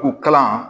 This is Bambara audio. U kalan